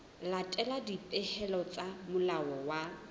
latela dipehelo tsa molao wa